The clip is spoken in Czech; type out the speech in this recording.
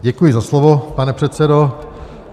Děkuji za slovo, pane předsedo.